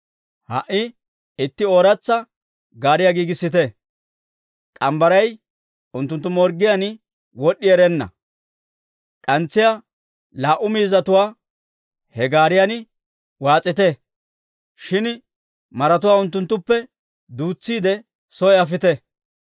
«Ha"i itti ooratsa gaariyaa giigissite; k'ambbaray unttunttu morggiyaan wod'd'i erenna, d'antsiyaa laa"u miizzatuwaa he gaariyan waas'ite; shin maratuwaa unttunttuppe duutsiide soy afite.